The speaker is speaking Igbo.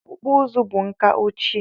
Ọkpụkpụ uzu bụ nka ochie